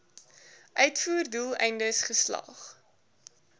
uitvoer doeleindes geslag